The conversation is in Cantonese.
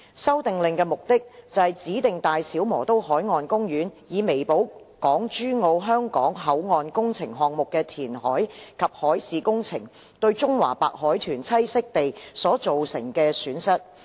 《修訂令》的目的，是指定大小磨刀海岸公園，以彌補港珠澳香港口岸工程項目的填海及海事工程對中華白海豚棲息地所造成的損失。